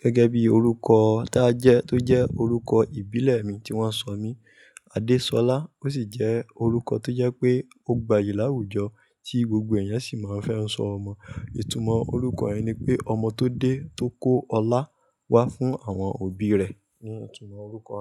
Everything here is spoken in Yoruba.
Gẹ́gẹ́ bí orúkọ táa jẹ́ tó jẹ́ orúkọ ìbílẹ̀ mi tí wọ́n sọ mí, 'Adésolá' ó sì jẹ́ orúkọ tó jẹ́ pé ó gbayì láwùjọ tí gbogbo èyàn sì máa ń fẹ́ sọ ọmọ. Ìtumọ̀ orúkọ yen ni pé ọmọ tó dé tó kó ọlá wá fún àwọn òbí rẹ̀ ni ìtumọ̀ orúkọ.